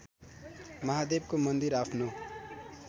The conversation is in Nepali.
महादेवको मन्दिर आफ्नो